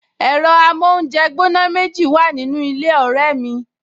Ẹ̀rọ amóúnjẹgbóná méjì wà nínú ilé ọ̀rẹ́ mi